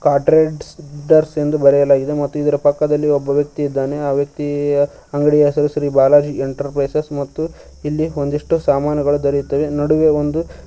ಎಂದು ಬರೆಯಲಾಗಿದೆ ಮತ್ತು ಇದರ ಪಕ್ಕದಲ್ಲಿ ಒಬ್ಬ ವ್ಯಕ್ತಿ ಇದ್ದಾನೆ ಆ ವ್ಯಕ್ತಿಯ ಅಂಗಡಿಯ ಹೆಸರು ಶ್ರೀ ಬಾಲಾಜಿ ಎಂಟರ್ಪ್ರೈಸಸ್ ಮತ್ತು ಇಲ್ಲಿ ಒಂದಿಷ್ಟು ಸಾಮಾನುಗಳು ದೊರೆಯುತ್ತವೆ ನಡುವೆ ಒಂದು--